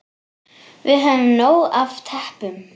Við höfum nóg af teppum.